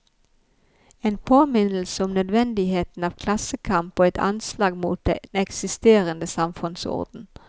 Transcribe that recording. En påminnelse om nødvendigheten av klassekamp og et anslag mot den eksisterende samfunnsorden.